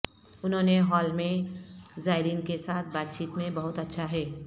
انہوں نے ہال میں زائرین کے ساتھ بات چیت میں بہت اچھا ہے